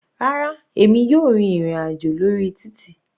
Rárá, èmi yóò rìn ìrin àjò lórí títì.